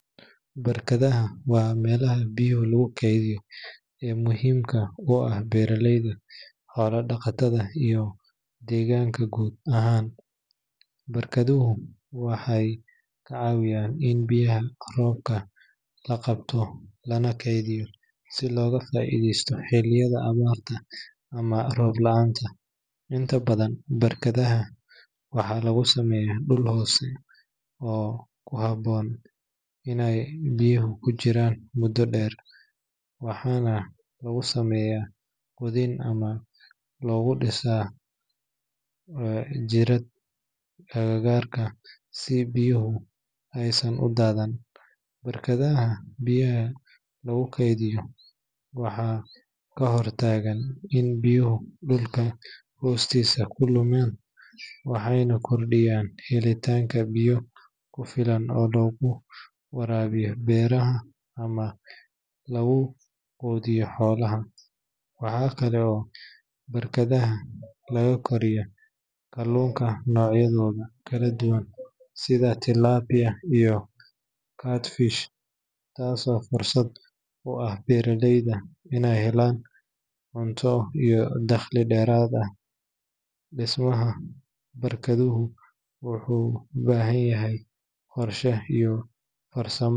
Barkadaha waa meelaha biyaha lagu kaydiyo ee muhiimka u ah beeraleyda, xoolo-dhaqatada, iyo deegaanka guud ahaan. Barkaduhu waxay ka caawiyaan in biyaha roobka la qabto lana keydiyo si looga faa’iideysto xilliyada abaarta ama roob la’aanta. Inta badan barkadaha waxaa lagu sameeyaa dhul hoose oo ku habboon inay biyaha ku jiraan muddo dheer, waxaana lagu sameeyaa qodid ama lagu dhisaa gidaarka agagaarka si biyaha aysan u daadan. Barkadaha biyaha lagu keydiyo waxay ka hortagaan in biyaha dhulka hoostiisa ku lumiyaan waxayna kordhiyaan helitaanka biyo ku filan oo lagu waraabiyo beeraha ama lagu quudiyo xoolaha. Waxa kale oo barkadaha laga koriyaa kalluunka noocyadooda kala duwan sida tilapia iyo catfish, taasoo fursad u ah beeraleyda inay helaan cunto iyo dakhli dheeraad ah. Dhismaha barkaduhu wuxuu u baahan yahay qorshe iyo farsamo.